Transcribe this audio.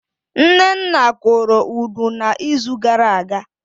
Nnenna kụrụ Udu na izu gara aga